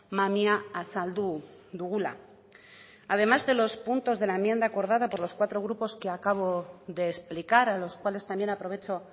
mamia azaldu dugula además de los puntos de la enmienda acordada por los cuatro grupos que acabo de explicar a los cuales también aprovecho